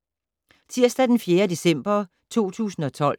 Tirsdag d. 4. december 2012